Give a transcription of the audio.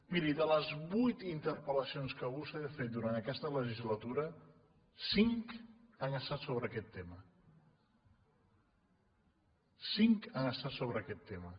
miri de les vuit interpel·lacions que vostè ha fet durant aquesta legislatura cinc han estat so·bre aquest tema cinc han estat sobre aquest tema